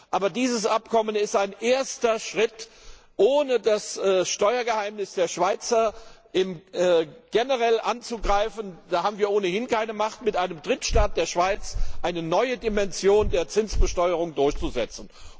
Aber dieses Abkommen ist ein erster Schritt, ohne das Steuergeheimnis der Schweiz generell anzugreifen. Wir haben ohnehin keine Macht, mit einem Drittstaat, der Schweiz, eine neue Dimension der Zinsbesteuerung durchzusetzen.